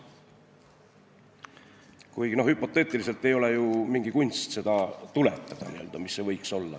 Kuigi hüpoteetiliselt ei ole ju mingi kunst tuletada, mis see võiks olla.